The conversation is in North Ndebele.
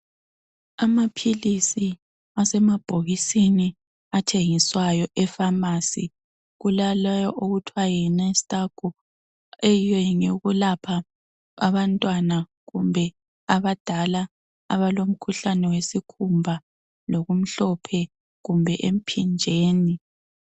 Amaphilisi asemabhokisini athengiswayo e pharmacy kula lewo akuthiwa yi mastago eyiyo ngeyekulapha abantwana kumbe abadala abalomkhuhlene wesikhumba lokumhlophe kumbe emphinjeni.